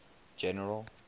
general